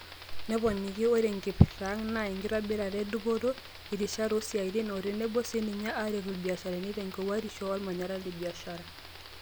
Neponiki, "Oree enkiprta ang naa enkitobirata e dupoto, irishat oosiatin otenebo sininye aaretu ilbasharani tenkowuarisho olmanyara le biashara.